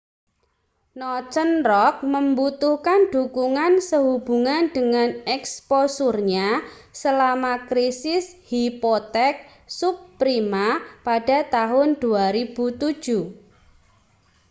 northern rock membutuhkan dukungan sehubungan dengan eksposurnya selama krisis hipotek subprima pada tahun 2007